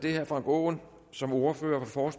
er herre frank aaen som ordfører for